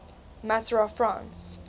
matter of france